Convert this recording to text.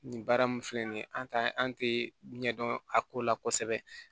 Nin baara mun filɛ nin an t'an an tɛ ɲɛ dɔn a ko la kosɛbɛ